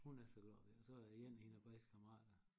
Hun er så glad ved og så er der igen en af klassekammeraterne